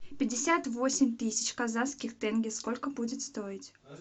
пятьдесят восемь тысяч казахских тенге сколько будет стоить